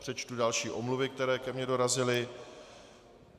Přečtu další omluvy, které ke mně dorazily.